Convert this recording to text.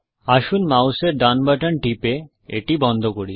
আসুন মাউসের ডান বাটন টিপে এটি বন্ধ করি